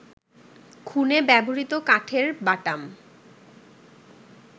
খুনে ব্যবহৃত কাঠের বাটাম